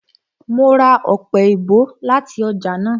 Mo ra ọpẹ-èèbó láti ọjà náà